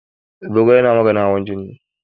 Zogale na maganin hawan jini.